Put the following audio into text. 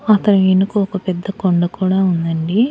అతని ఎనుక ఒక పెద్ద కొండ కూడా ఉందండి.